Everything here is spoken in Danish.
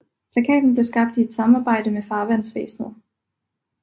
Plakaten blev skabt i et samarbejde med Farvandsvæsenet